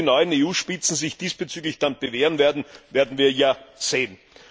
Ob die neuen EU Spitzen sich diesbezüglich dann bewähren werden, werden wir ja sehen.